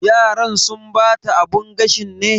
Yaran sun bata abun gashin ne?